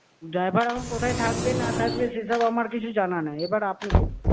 Driver এখন কোথায় থাকবে না থাকবে সেসব আমার কিছু জানা নাই, এবার আপনি বলুন।